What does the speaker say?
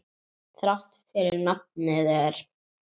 Þrátt fyrir nafnið er.